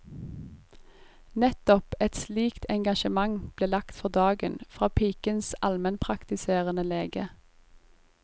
Nettopp et slikt engasjement ble lagt for dagen fra pikens almenpraktiserende lege.